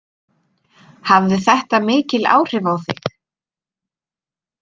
Hafði þetta mikil áhrif á þig?